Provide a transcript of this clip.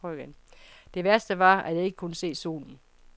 Det værste var, at jeg ikke kunne se solen.